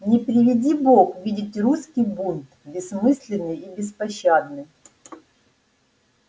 не приведи бог видеть русский бунт бессмысленный и беспощадный